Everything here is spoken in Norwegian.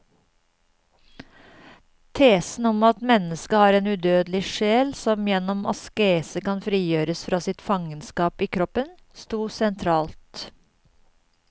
Tesen om at mennesket har en udødelig sjel som gjennom askese kan frigjøres fra sitt fangenskap i kroppen, stod sentralt.